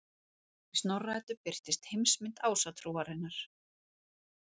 Í Snorra-Eddu birtist heimsmynd Ásatrúarinnar.